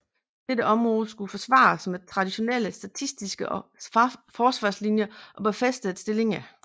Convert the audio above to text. Dette område skulle forsvares med traditionelle statiske forsvarslinjer og befæstede stillinger